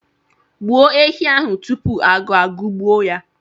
Gbuo ehi ahụ tupu agụụ agụgbuo ya!